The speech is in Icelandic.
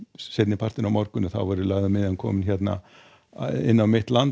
seinnipartinn á morgun verður lægðin komin inn á mitt land